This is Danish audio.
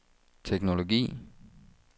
teknologi